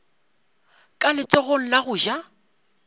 ka letsogong la go ja